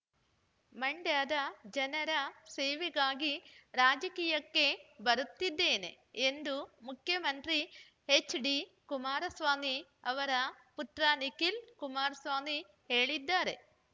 ಮಂಡ್ಯದ ಜನರ ಸೇವೆಗಾಗಿ ರಾಜಕೀಯಕ್ಕೆ ಬರುತ್ತಿದ್ದೇನೆ ಎಂದು ಮುಖ್ಯಮಂತ್ರಿ ಹೆಚ್ಡಿ ಕುಮಾರಸ್ವಾಮಿ ಅವರ ಪುತ್ರ ನಿಖಿಲ್ ಕುಮಾರಸ್ವಾಮಿ ಹೇಳಿದ್ದಾರೆ